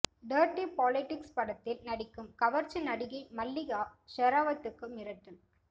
dirty politics படத்தில் நடிக்கும் கவர்ச்சி நடிகை மல்லிகா ஷெராவத்துக்கு மிரட்டல்